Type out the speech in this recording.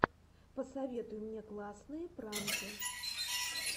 посоветуй мне классные пранки